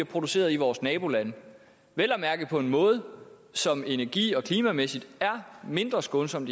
produceret i vores nabolande vel at mærke på en måde som energi og klimamæssigt er mindre skånsom